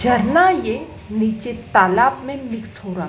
झरना ये नीचे तालाब में मिक्स हो रा--